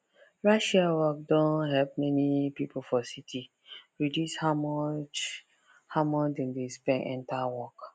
rideshare work don help many people for city reduce how much how much dem dey spend enter work